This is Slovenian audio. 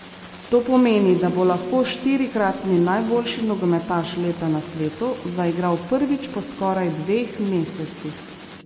To pomeni, da bo lahko štirikratni najboljši nogometaš leta na svetu zaigral prvič po skoraj dveh mesecih.